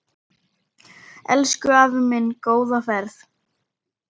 Elsku afi minn, góða ferð.